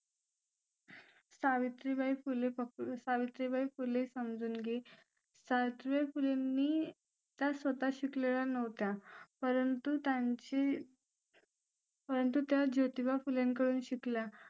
सावित्रीबाई फुले सावित्रीबाई फुले समजून घे सावित्रीबाई फुलेंनी त्या स्वतः शिकलेल्या नव्हत्या परंतु त्यांचे परंतु त्या ज्योतिबा फुलेंकडून शिकल्या